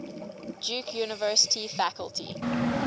duke university faculty